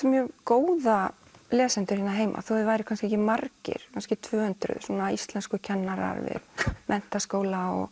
mjög góða lesendur hérna heima þó þeir væru kannski ekki margir kannski tvö hundruð íslenskukennarar við menntaskóla og